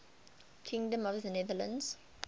kingdom of the netherlands